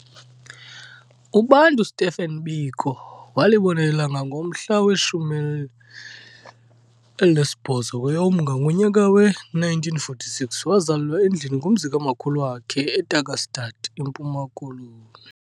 UBantu Stephen Biko walibona ilanga ngomhla we-18 kweyoMnga ngonyaka we-1946, wazalelwa endlini kumzi kamakhulu wakhe eTarkastad eMpuma Koloni.